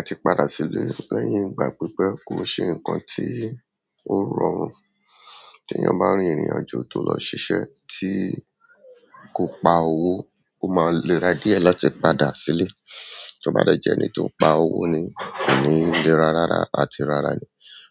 A ti padà sílé lẹ́yìn ìgbà pípẹ́ kò n ṣe ǹkan tí ó rọrùn, teeyàn bá rìn ìrìnàjò tó lọ ṣiṣẹ́ tí kò pa owó, ó máa n léra díẹ̀ latí padà sílé. To ba de je ẹni to pa owo ni ko ni lera rara àti rara